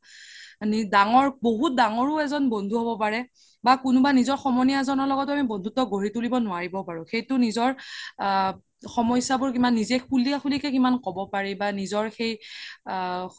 দাঙৰ বহুত দাঙৰও এজ্ন বন্ধু হ্'ব পাৰে বা কোনোবা নিজৰ সমনীয়া এজ্নৰ লগতও বন্ধুত্ব গঢ়ি তুলিব নোৱাৰিব পাৰো সেইতো নিজৰ সমস্যা বোৰ কিমান নিজে খুলিয়া খুলি কে কিমান ক্'ব পাৰি বা নিজৰ সেই আ